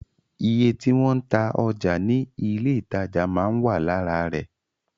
Iye tí wọ́n ń ta ọjà ní ilé ìtajà máa ń wà lára rẹ̀